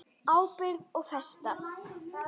Ábyrgð og festa